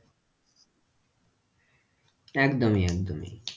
একদমই একদমই,